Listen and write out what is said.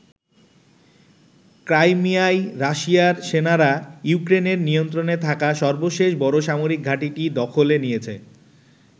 ক্রাইমিয়ায় রাশিয়ার সেনারা ইউক্রেনের নিয়ন্ত্রণে থাকা সর্বশেষ বড় সামরিক ঘাঁটিটি দখলে নিয়েছে।